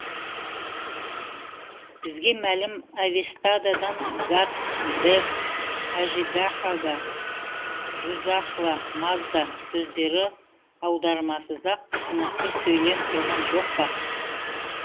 бізге мәлім авестадан гат дэв ажидахака дужахва мазда сөздері аудармасыз ақ түсінікті сөйлеп тұрған жоқ па